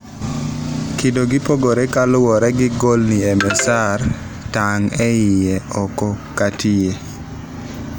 kido gi pogore kaluore gi ngolni msr tong eang' ;iye, oko kata gite